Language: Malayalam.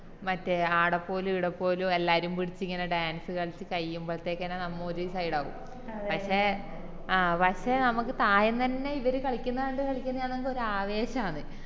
മറ്റേ ആട പോവല് ഈട പോവല് എല്ലാരും പിടിച് ഇങ്ങനെ dance കളിച് കയ്യുമ്പൾത്തേക്കന്നെ നമ്മ ഒര് side ആവും പഷേ പഷേ നമുക്ക് ഇപ്പൊ ആദ്യം തന്നെ ഇവര് കളിക്കുന്ന കണ്ട് കളിക്കുന്ന കാണുമ്പോ ഒരാവേശാന്ന്